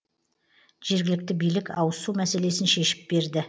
жергілікті билік ауызсу мәселесін шешіп берді